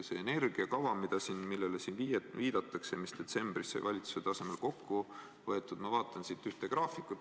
Selles energiakavas, millele siin viidatakse, mis detsembris sai valitsuse tasemel kokku võetud, ma vaatan ühte graafikut.